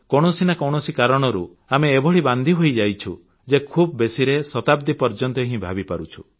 କୌଣସି ନା କୌଣସି କାରଣରୁ ଆମେ ଏଭଳି ବାନ୍ଧି ହୋଇଯାଇଛୁ ଯେ ଖୁବ୍ ବେଶୀରେ ଶତାବ୍ଦୀ ପର୍ଯ୍ୟନ୍ତ ହିଁ ଭାବିପାରୁଛୁ